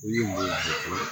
U ye mun jɔ